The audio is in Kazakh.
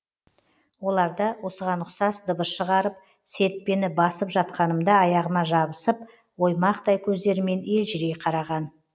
оларда осыған ұқсас дыбыс шығарып серіппені басып жатқанымда аяғыма жабысып оймақтай көздерімен елжірей қараған